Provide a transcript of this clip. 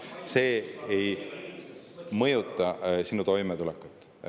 See ei mõjuta sinu toimetulekut.